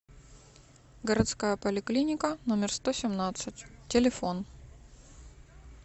городская поликлиника номер сто семнадцать телефон